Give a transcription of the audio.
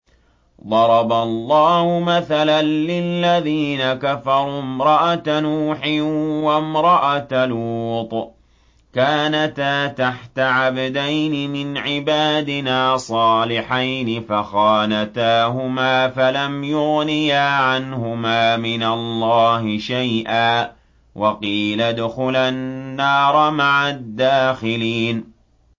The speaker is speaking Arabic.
ضَرَبَ اللَّهُ مَثَلًا لِّلَّذِينَ كَفَرُوا امْرَأَتَ نُوحٍ وَامْرَأَتَ لُوطٍ ۖ كَانَتَا تَحْتَ عَبْدَيْنِ مِنْ عِبَادِنَا صَالِحَيْنِ فَخَانَتَاهُمَا فَلَمْ يُغْنِيَا عَنْهُمَا مِنَ اللَّهِ شَيْئًا وَقِيلَ ادْخُلَا النَّارَ مَعَ الدَّاخِلِينَ